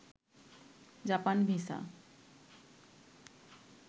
Japan visa